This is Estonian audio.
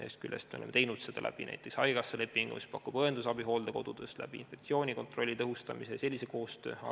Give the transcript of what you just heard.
Ühest küljest oleme teinud seda haigekassa lepingu abil, mis pakub õendusabi hooldekodudes infektsioonikontrolli tõhustamise ja sellise koostöö kaudu.